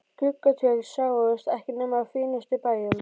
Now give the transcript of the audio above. Gluggatjöld sáust ekki nema á fínustu bæjum.